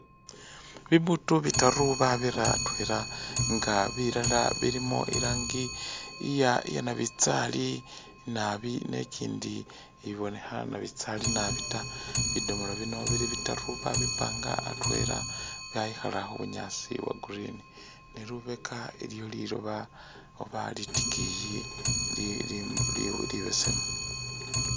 Bi butu bitaru babira atwela nga bilala bilimo i rangi iya nabitsali naabi ne i kyindi ibonekha nabitsali naabi ta, bidomolo bino bili bitaru ba bipanga atwela byayikhala khu bunyaasi bwa green ne lubeka iliyo liloba oba litikiyi li -li libesemu.